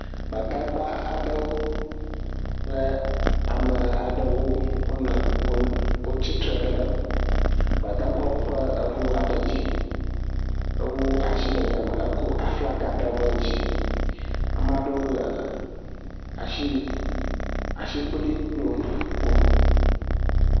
Gbadagba aɖewo kple ame aɖewo wonɔ, wol, wotsi tre ɖe Gbadagbawo ƒe eŋu aɖe dzi ewu ashi ɖe yame eko flaga ɖewoɛ dzi. Amaa ɖewo le ashi, ashikpoli kplom, ƒom.